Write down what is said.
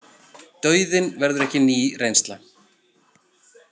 Dauðinn verður ekki ný reynsla.